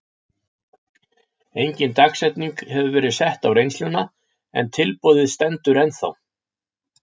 Engin dagsetning hefur verið sett á reynsluna en tilboðið stendur ennþá.